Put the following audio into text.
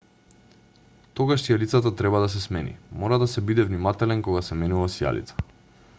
тогаш сијалицата треба да се смени мора да се биде внимателен кога се менува сијалица